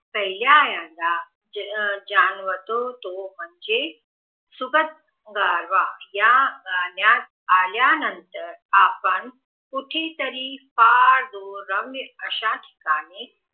पर्यायाचा जाणवतो तो म्हणजे सुखद गारवा या गाण्यात आल्यानंतर आपण कुठेतरी पार दोन रम्य अश्या ठिकाणी